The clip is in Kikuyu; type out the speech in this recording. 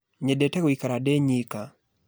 Nyendete gũikara ndĩ nyĩka